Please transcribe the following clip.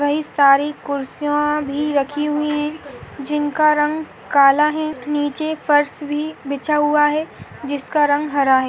वहीं सारी खुर्सियाँ भी रखी हुई है जिनका रंग काला है नीचे एक फर्स भी बिछा हुआ है जिसका रंग हरा है।